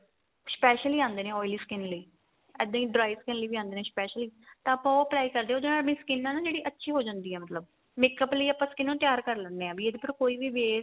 special ਹੀ ਆਂਦੇ ਨੇ oily skin ਲਈ ਇੱਦਾਂ ਈ dry skin ਲਈ ਵੀ ਆਂਦੇ ਨੇ specially ਤਾਂ ਆਪਾਂ ਉਹ try ਕਰਦੇ ਆ ਉਹਦੇ ਨਾਲ ਆਪਣੀ skin ਏ ਨਾ ਜਿਹੜੀ ਅੱਛੀ ਹੋ ਜਾਂਦੀ ਏ ਮਤਲਬ makeup ਲਈ ਆਪਾਂ skin ਨੂੰ ਤਿਆਰ ਕ਼ਰ ਲੈਨੇ ਆ ਵੀ ਇਹਦੇ ਫੇਰ ਕੋਈ ਵੀ waste